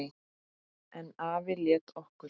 En afi lét okkur